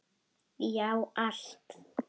Já, allt!